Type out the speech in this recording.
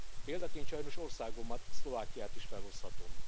Példaként sajnos országomat, Szlovákiát is felhozhatom.